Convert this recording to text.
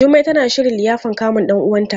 Jummai tana shirin liyafan kamun ɗan uwanta.